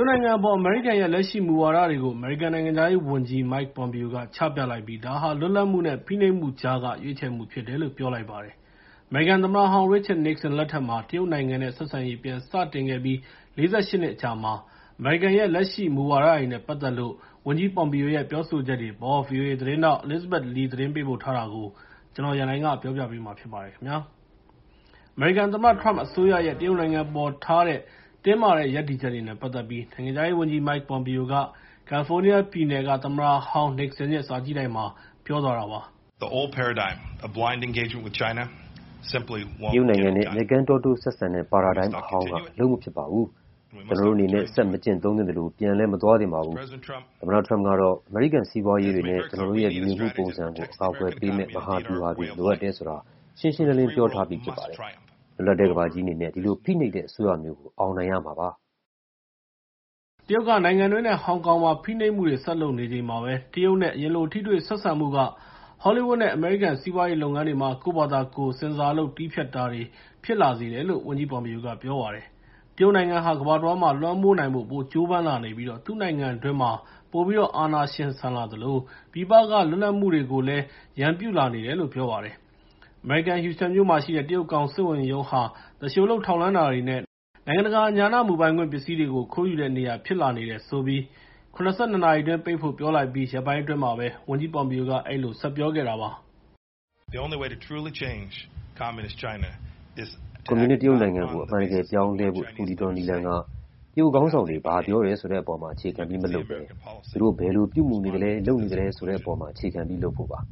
တ်နိုင်ငံအပေါ် အမေရိကန်ရဲ့ လက်ရှိမူဝါဒတွေကို အမေရိကန် နိုင်ငံခြားရေးဝန်ကြီး Mike Pompeo က ချပြလိုက်ပြီး ဒါဟာ လွတ်လပ်မှုနဲ့ ဖိနှိပ်မှုကြားက ရွေးချယ်မှုဖြစ်တယ်လို့ ပြောလိုက်ပါတယ်။ အမေရိကန်သမ္မတဟောင်း Richard Nixon လက်ထက်မှာ တရုတ်နိုင်ငံနဲ့ ဆက်ဆံရေး ပြန်စတင်ခဲ့အပြီး ၄၈ နှစ်အကြာမှာ အမေရိကန်ရဲ့ လက်ရှိမူဝါဒတွေနဲ့ ပတ်သက်လို့ ဝန်ကြီး Pompeo ရဲ့ပြောဆိုချက်တွေအပေါ် ဗွီအိုအေ သတင်းထောက် Elizabeth Lee သတင်းပေးပို့ထားတာကို ကိုရန်နိုင် တင်ပြပေးထားပါတယ်။ အမေရိကန်သမ္မတ Trump အစိုးရရဲ့ တရုတ်နိုင်ငံအပေါ်ထားတဲ့ တင်းမာတဲ့ ရပ်တည်ချက်တွေနဲ့ ပတ်သက်ပြီး နိုင်ငံခြားရေးဝန်ကြီး Mike Pompeo က ကယ်လီဖိုးနီးယားပြည်နယ်က သမ္မတဟောင်း Nixon ရဲ့ စာကြည့်တိုက်မှာ ပြောသွားတာပါ။ “တရုတ်နိုင်ငံနဲ့ မျက်ကန်းတောတိုးဆက်ဆံတဲ့ ပါရာဒိုင်းအဟောင်းက အလုပ်မဖြစ်ပါဘူး။ ကျနော်တို့အနေနဲ့ ဆက်မကျင့်သုံးသင့်သလို ပြန်လည်း မသွားသင့်ပါဘူး။ သမ္မတ Trump ကတော့ အမေရိကန်စီးပွားရေးတွေနဲ့ ကျနော်တို့ရဲ့ လူနေမှုပုံစံကို အကာအကွယ်ပေးမယ့် မဟာဗျူဟာတွေ လိုအပ်တယ်ဆိုတာ ရှင်းရှင်းလင်းလင်း ပြောထားပြီးဖြစ်ပါတယ်။ လွတ်လပ်တဲ့ ကမ္ဘာကြီးအနေနဲ့ ဒီလို ဖိနှိပ်တဲ့အစိုးရမျိုးကို အောင်နိုင်ရမှာပါ။” တရုတ်က နိုင်ငံတွင်းနဲ့ ဟောင်ကောင်မှာ ဖိနှိပ်မှုတွေ ဆက်လုပ်နေချိန်မှာပဲ တရုတ်နဲ့ အရင်လို ထိတွေ့ဆက်ဆံမှုက Hollywood နဲ့ အမေရိကန် စီးပွားရေးလုပ်ငန်းတွေမှာ ကိုယ့်ဘာသာကိုယ် ဆင်ဆာလုပ် တည်းဖြတ်ရတာတွေ ဖြစ်လာစေတယ်လို့ ဝန်ကြီး Pompeo က ပြောပါတယ်။ တရုတ်နိုင်ငံဟာ ကမ္ဘာတဝန်းမှာ လွှမ်းမိုးနိုင်ဖို့ ပိုကြိုးပမ်းလာနေပြီး သူ့နိုင်ငံတွင်းမှာ ပိုပြီးတော့ အာဏာရှင်ဆန်လာသလို ပြည်ပက လွတ်လပ်မှုတွေကိုလည်း ရန်ပြုလာနေတယ်လို့ ပြောပါတယ်။ အမေရိကန် ဟူစတန်မြို့မှာရှိတဲ့ တရုတ်ကောင်စစ်ဝန်ရုံးဟာ သူလျှိုလုပ်ထောက်လှမ်းတာတွေနဲ့ နိုင်ငံတကာ ဉာဏမူပိုင်ခွင့် ပစ္စည်းတွေကို ခိုးယူတဲ့နေရာ ဖြစ်လာနေတယ်ဆိုပြီး ၇၂ နာရီအတွင်း ပိတ်ဖို့ ပြောလိုက်ပြီး ရက်ပိုင်းအတွင်းမှာပဲ ဝန်ကြီး Pompeo က အဲဒီလို ဆက်ပြောခဲ့တာပါ။ “ကွန်မြူနစ် တရုတ်နိုင်ငံကို အမှန်တကယ် ပြောင်းလဲဖို့ တခုတည်းသော နည်းလမ်းက တရုတ်ခေါင်းဆောင်တွေ ဘာပြောတယ်ဆိုတဲ့အပေါ်မှာ အခြေခံပြီး မလုပ်ဘဲ သူတို့ ဘယ်လိုပြုမူနေသလဲ၊ လုပ်နေသလဲ ဆိုတဲ့အပေါ်မှာ အခြေခံပြီး လုပ်ဖို့ပါ။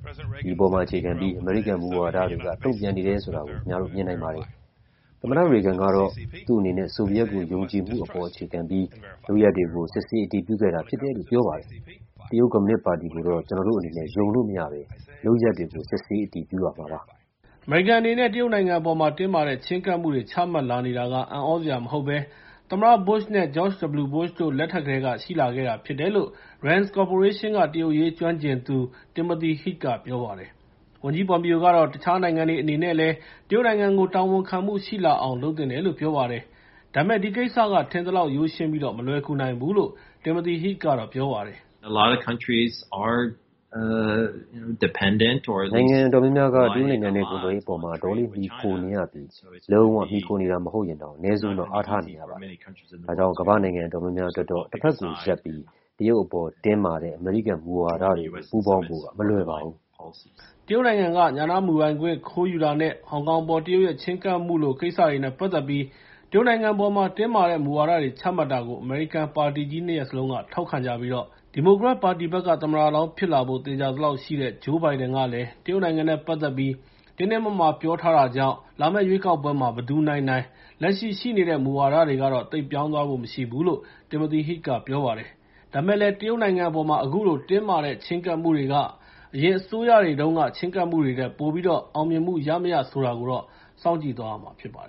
ဒီအပေါ်မှာ အခြေခံပြီး အမေရိကန် မူဝါဒတွေက တုံ့ပြန်နေတယ်ဆိုတာကို ခင်ဗျားတို့ မြင်နိုင်ပါတယ်။ သမ္မတ Reagan ကတော့ သူ့အနေနဲ့ ဆိုဗီယက်ကို ယုံကြည်မှုပေါ် အခြေခံပြီး လုပ်ရပ်တွေကို စစ်ဆေး အတည်ပြုခဲ့တာ ဖြစ်တယ်လို့ ပြောပါတယ်။ တရုတ်ကွန်မြူနစ်ပါတီကိုတော့ ကျနော်တို့အနေနဲ့ ယုံလို့မရဘဲ လုပ်ရပ်တွေကို စစ်ဆေး အတည်ပြုရမှာပါ။” အမေရိကန်အနေနဲ့ တရုတ်နိုင်ငံအပေါ်မှာ တင်းမာတဲ့ ချဉ်းကပ်မှုတွေ ချမှတ်လာနေတာ အံ့သြစရာမဟုတ်ဘဲ သမ္မတ Bush နဲ့ George W. Bush တို့ လက်ထက်ကတည်းက ရှိလာခဲ့တာဖြစ်တယ်လို့ Rand’s Corporation က တရုတ်အရေး ကျွမ်းကျင်သူ Timothy Heath က ပြောပါတယ်။ ဝန်ကြီး Pompeo ကတော့ တခြားနိုင်ငံတွေ အနေနဲ့လည်း တရုတ်နိုင်ငံကို တာဝန်ခံမှုရှိလာအောင် လုပ်သင့်တယ်လို့ ပြောလိုက်ပါတယ်။ ဒါပေမယ့် ဒီကိစ္စက ထင်သလောက် ရိုးရှင်းပြီး မလွယ်ကူနိုင်ဘူးလို့ Timothy Heath က ပြောပါတယ်။ “နိုင်ငံအတော်များများက တရုတ်နိုင်ငံနဲ့ ကုန်သွယ်ရေးအပေါ်မှာ အတော်လေး မှီခိုနေရပြီး လုံး၀ မှီခိုနေတာ မဟုတ်ရင်တောင် အနည်းဆုံးတော့ အားထားနေရပါတယ်။ ဒါကြောင့် ကမ္ဘာ့နိုင်ငံ အတော်များများအတွက်တော့ တဖက်ကိုရပ်ပြီး တရုတ်အပေါ် တင်းမာတဲ့ အမေရိကန် မူဝါဒတွေကို ပူးပေါင်းဖို့က မလွယ်ပါဘူး။” တရုတ်နိုင်ငံက ဉာဏမူပိုင်ခွင့် ခိုးယူတာနဲ့ ဟောင်ကောင်အပေါ် တရုတ်ရဲ့ ချဉ်းကပ်မှုလို ကိစ္စတွေနဲ့ ပတ်သက်ပြီး တရုတ်နိုင်ငံအပေါ် တင်းမာတဲ့ မူဝါဒတွေ ချမှတ်တာကို အမေရိကန်က ပါတီကြီး ၂ ရပ်စလုံးက ထောက်ခံကြပြီး ဒီမိုကရက်ပါတီဘက်က သမ္မတလောင်းဖြစ်လာဖို့ သေချာသလောက်ရှိတဲ့ Joe Biden ကလည်း တရုတ်နိုင်ငံနဲ့ ပတ်သက်ပြီး တင်းတင်းမာမာ ပြောထားတာကြောင့် လာမယ့်ရွေးကောက်ပွဲမှာ ဘယ်သူနိုင်နိုင် လက်ရှိ ရှိနေတဲ့ မူဝါဒတွေကတော့ သိပ်ပြောင်းသွားဖို့ မရှိဘူးလို့ Timothy Heath က ပြောပါတယ်။ ဒါပေမယ့်လည်း တရုတ်နိုင်ငံအပေါ် အခုလို တင်းမာတဲ့ ချဉ်းကပ်မှုတွေက အရင်အစိုးရတွေတုန်းက ချဉ်းကပ်မှုတွေထက် ပိုပြီး အောင်မြင်မှုရမရ ဆိုတာကတော့ စောင့်ကြည့်သွားရမှာ ဖြစ်ပါတယ်